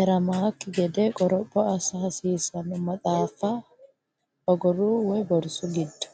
eramannokki gede qoropho assa hasiissanno Maxaafa ogoru(borsu)giddo.